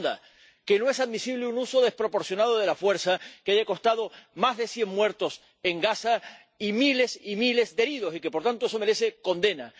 la segunda, que no es admisible un uso desproporcionado de la fuerza que ha costado más de cien muertos en Gaza y miles y miles de heridos y que, por tanto, eso merece condena